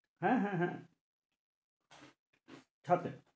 হ্যাঁ, হ্যাঁ, হ্যাঁ ছাঁদে,